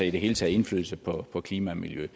i det hele taget indflydelse på klima og miljø